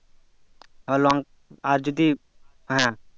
আর লঙ্কা আর যদি হ্যাঁ